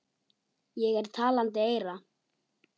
Ég er talandi eyra.